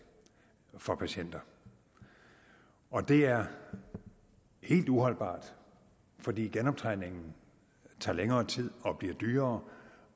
for patienter og det er helt uholdbart fordi genoptræningen tager længere tid og bliver dyrere